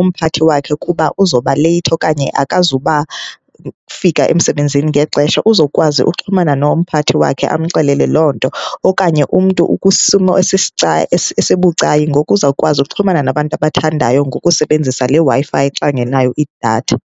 umphathi wakhe ukuba uzawubaleyithi okanye akazubafika emsebenzini ngexesha. Uzokwazi uxhumana nomphathi wakhe amxelele loo nto. Okanye umntu ukwisimo esibucayi, ngoku uzawukwazi okuxhumana nabantu abathandayo ngokusebenzisa le Wi-Fi xa engenayo idatha.